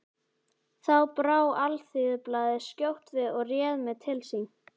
Þá brá Alþýðublaðið skjótt við og réð mig til sín.